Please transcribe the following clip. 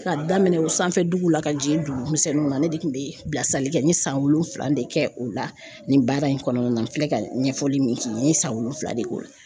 Ka daminɛ o sanfɛ duguw la ka jigin dugu misɛnninw na ne de kun be yen, bilasirali kɛ n ye san wolonwula de kɛ o la, nin baara in kɔnɔna na, n filɛ ka ɲɛfɔli min k'i ye, n ye san wolonwula de k'o la.